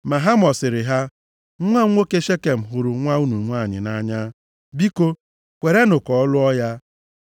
Ma Hamọ sịrị ha, “Nwa m nwoke Shekem hụrụ nwa unu nwanyị nʼanya. Biko, kwerenụ ka ọ lụọ ya.